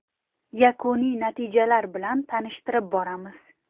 Yakuniy natijalar bilan tanishtirib boramiz.